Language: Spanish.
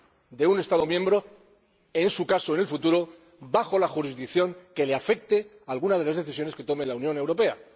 de un Estado miembro, en su caso, en el futuro, bajo la jurisdicción a la que afecte alguna de las decisiones que tome la Unión Europea.